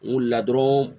N wulila dɔrɔn